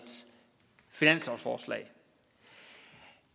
finanslovsforslag